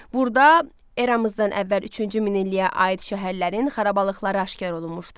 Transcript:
Burda eramızdan əvvəl üçüncü minilliyə aid şəhərlərin xarabalıqları aşkar olunmuşdu.